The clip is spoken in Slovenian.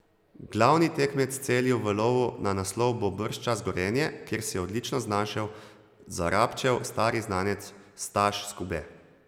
Glavni tekmec Celju v lovu na naslov bo bržčas Gorenje, kjer se je odlično znašel Zarabčev stari znanec Staš Skube.